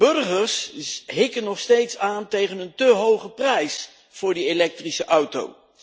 Burgers hikken nog steeds aan tegen een te hoge prijs voor die elektrische auto.